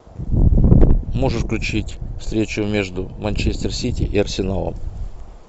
можешь включить встречу между манчестер сити и арсеналом